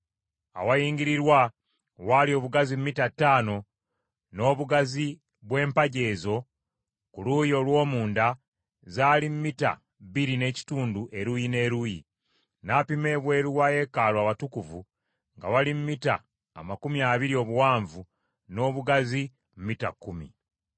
Awayingirirwa waali obugazi mita ttaano, n’obugazi bw’empagi ez’oku luuyi olw’omunda zaali mita bbiri n’ekitundu eruuyi n’eruuyi. N’apima ebweru wa yeekaalu Awatukuvu nga wali mita amakumi abiri obuwanvu, n’obugazi mita kkumi.